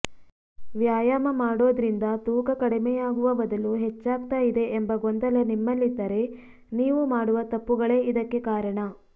ವ್ಯಾಯಾಮ ಮಾಡೋದ್ರಿಂದ ತೂಕ ಕಡಿಮೆಯಾಗುವ ಬದಲು ಹೆಚ್ಚಾಗ್ತಾ ಇದೆ ಎಂಬ ಗೊಂದಲ್ಲ ನಿಮ್ಮಲ್ಲಿದ್ದರೆ ನೀವು ಮಾಡುವ ತಪ್ಪುಗಳೇ ಇದಕ್ಕೆ ಕಾರಣ